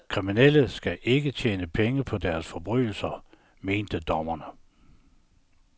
Kriminelle skal ikke tjene penge på deres forbrydelser, mente dommerne.